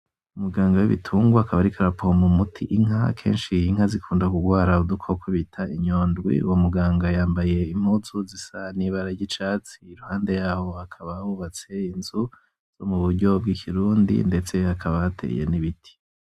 Umuganga w'ibitunga akaba ariko arapompa umuti inka akenshi inka zikunda kugwara udukoko bita inyondwi uwo muganga yambaye impuzu zisa n'ibara ry'icatsi iruhande yaho hakaba hubatse inzu zo mu buryo bw'ikirundi ndetse hakaba hateye n'ibiti.